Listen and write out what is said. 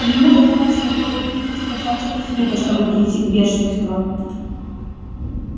ему достаточно было увидеть красавчика смита чтобы прийти в бешенство